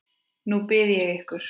Nú bið ég ykkur